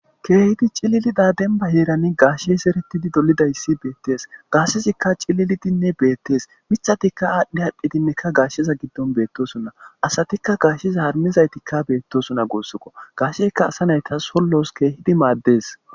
kehiddo cillidi demmban herani gashsheyi zeretidi dollidayisi bettes gashshezika cillilidi bettes miththati adhi adhi gasheza giddon bettosona asatikka gashsheza harmmizayiti bettosona gussukko gashsheyikka asa nayitas sollos kehippe maddes.